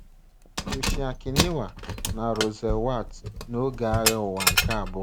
Toshiaki Niwa na Russell Werts n’oge Agha Ụwa nke Abụọ